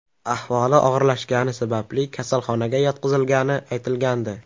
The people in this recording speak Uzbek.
Ahvoli og‘irlashgani sababli kasalxonaga yotqizilgani aytilgandi.